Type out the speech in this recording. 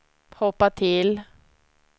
hoppa till